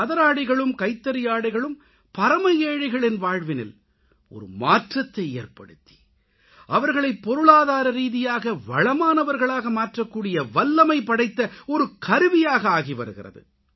கதராடைகளும் கைத்தறியாடைகளும் பரமஏழைகளின் வாழ்வினில் மாற்றத்தை ஏற்படுத்தி அவர்களைப் பொருளாதாரரீதியாக வளமானவர்களாக மாற்றக்கூடிய வல்லமை படைத்த கருவியாக ஆகிவருகிறது